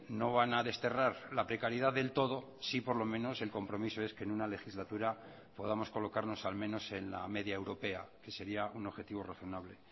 no van a desterrar la precariedad del todo sí por lo menos el compromiso es que en una legislatura podamos colocarnos al menos en la media europea que sería un objetivo razonable